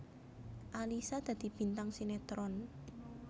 Alyssa dadi bintang sinetron